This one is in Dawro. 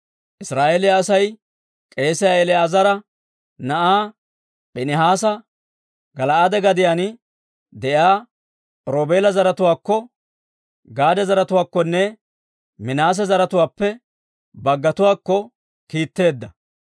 Israa'eeliyaa Asay k'eesiyaa El"aazara na'aa Piinihaasa, Gala'aade gadiyaan de'iyaa Roobeela zaratuwaakko, Gaade zaratuwaakkonne Minaase zaratuwaappe baggatuwaakko kiitteedda.